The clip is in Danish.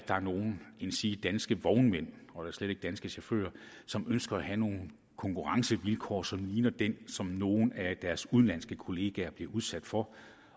der er nogen danske vognmænd og da slet ikke nogen danske chauffører som ønsker at have nogle konkurrencevilkår som ligner dem som nogle af deres udenlandske kolleger bliver udsat for